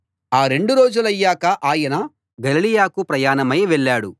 ఆ రెండు రోజులయ్యాక ఆయన గలిలయకు ప్రయాణమై వెళ్ళాడు